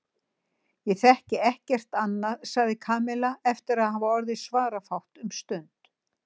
Ég þekki ekkert annað sagði Kamilla eftir að hafa orðið svarafátt um stund.